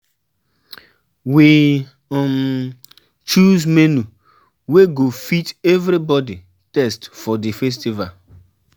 We um choose menu wey go fit everybody taste for di festival.